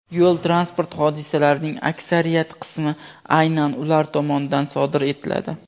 yo‘l transport hodisalarining aksariyat qismi aynan ular tomonidan sodir etiladi.